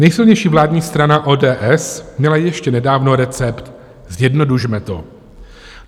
Nejsilnější vládní strana ODS měla ještě nedávno recept: zjednodušme to.